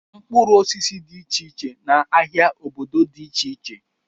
Mkpụrụ osisi dị iche iche na ahịa obodo dị iche iche.